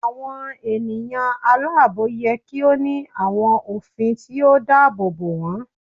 Awọn eniyan alaabo yẹ ki o ni awọn ofin ti o daabobo wọn